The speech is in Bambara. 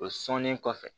O sɔnnen kɔfɛ